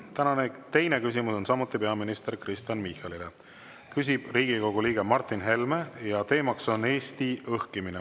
Tänane teine küsimus on samuti peaminister Kristen Michalile, küsib Riigikogu liige Martin Helme ja teema on Eesti õhkimine.